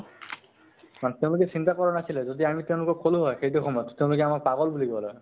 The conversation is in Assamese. first time তো চিন্তা কৰা নাছিলে । যদি আমি তেওঁলোকক কʼলো হয়, সেইটো সময় ত, তেওঁলোকে আমাক পাগল বুলি কʼলে হয় ।